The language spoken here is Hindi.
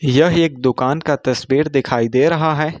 यह एक दुकान का तस्वीर दिखाई दे रहा है।